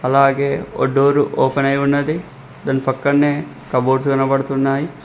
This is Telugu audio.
అలాగే ఒ డోరు ఓపెనయి ఉన్నది దాని పక్కన్నే కబోర్డ్స్ కనపడుతున్నాయి.